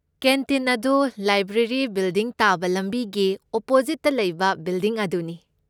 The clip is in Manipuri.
ꯀꯦꯟꯇꯤꯟ ꯑꯗꯨ ꯂꯥꯏꯕ꯭ꯔꯦꯔꯤ ꯕꯤꯜꯗꯤꯡ ꯇꯥꯕ ꯂꯝꯕꯤꯒꯤ ꯑꯣꯄꯣꯖꯤꯠꯇ ꯂꯩꯕ ꯕꯤꯜꯗꯤꯡ ꯑꯗꯨꯅꯤ꯫